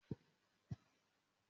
Mo sọ fún ẹ pé pẹtirólù ni kó rà!